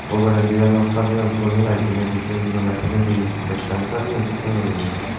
ugurendiyano sajeyon tuney layed diney di sigon sigon layed diney di bekkani sajeyon sekken guriney.